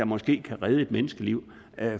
måske kan redde et menneskeliv